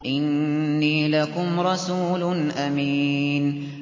إِنِّي لَكُمْ رَسُولٌ أَمِينٌ